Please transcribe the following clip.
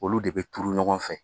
Olu de bɛ turu ɲɔgɔn fɛ